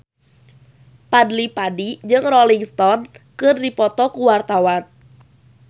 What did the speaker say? Fadly Padi jeung Rolling Stone keur dipoto ku wartawan